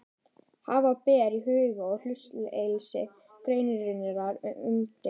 Hafa ber í huga að hlutleysi greinarinnar er umdeilt.